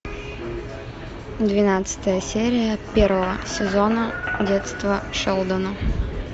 двенадцатая серия первого сезона детство шелдона